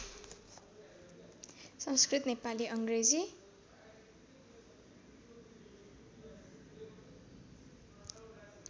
संस्कृत Nepali अङ्ग्रेजी